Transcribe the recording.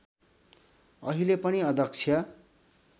अहिले पनि अध्यक्ष